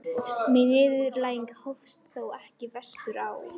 Mín niðurlæging hófst þó ekki vestur á